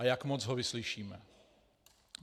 A jak moc ho vyslyšíme.